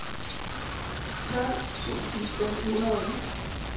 tolv tusind fem hundrede og ni